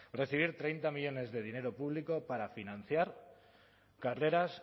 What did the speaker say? recibir treinta millónes de dinero público para financiar carreras